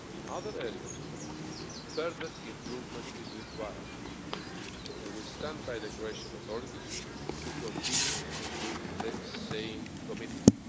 In other areas, further improvement is required, and we stand by the Croatian authorities to continue with the same commitment.